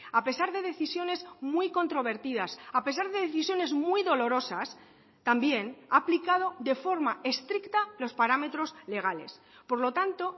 a pesar de decisiones muy controvertidas a pesar de decisiones muy dolorosas también ha aplicado de forma estricta los parámetros legales por lo tanto